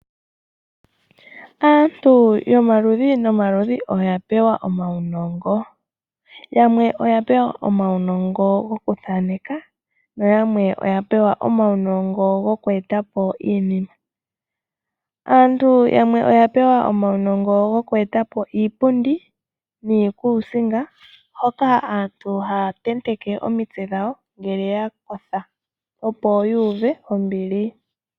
Aantu yomaludhi nomaludhi oyapewa uunongo wayoolokathana ngaashi uunongo woku thaaneka nayamwe oyapewa uunongo wokweetapo iinima ngaashi iipundi, niikusinga hoka aantu haatenteke omitse dhawo ngele yakotha opo yuuve ombili.